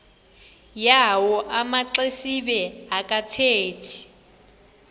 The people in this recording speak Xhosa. yawo amaxesibe akathethi